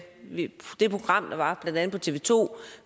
det program der var på tv to